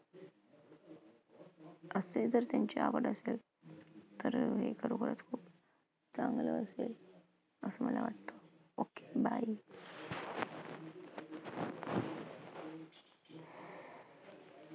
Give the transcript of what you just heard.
असे जर त्यांची आवड असेल तर अं खूप चांगलं असेल असं मला वाटतं. Okay, bye